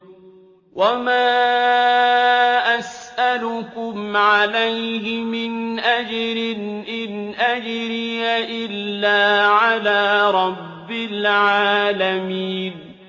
وَمَا أَسْأَلُكُمْ عَلَيْهِ مِنْ أَجْرٍ ۖ إِنْ أَجْرِيَ إِلَّا عَلَىٰ رَبِّ الْعَالَمِينَ